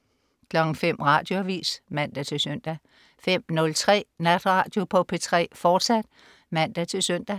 05.00 Radioavis (man-søn) 05.03 Natradio på P3, fortsat (man-søn)